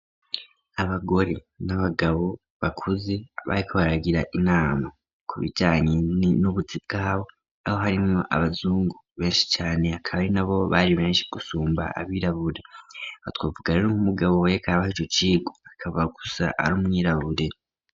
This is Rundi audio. Abagore n'abagabo bakuze bariko baragira inama ku bijanye n'ubuzi bwabo, aho harimwo abazungu benshi cane akaba ari na bo bari benshi gusumba abirabure. Aha twovuga rero nk'umugabo yariko arabaho ico cigwa, akaba gusa ari umwirabure.